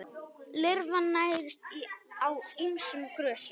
Lirfan nærist á ýmsum grösum.